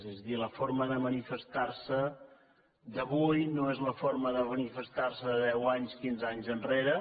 és a dir la forma de manifestar se d’avui no és la forma de manifestar se de deu anys quinze anys enrere